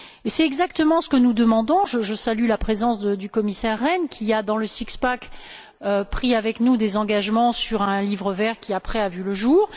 C'est exactement ce que nous demandons. Je salue la présence du commissaire Rehn qui, dans le six pack a pris avec nous des engagements sur un livre vert qui, après, a vu le jour.